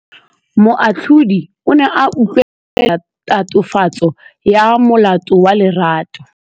Moatlhodi o ne a utlwelela tatofatsô ya molato wa Lerato.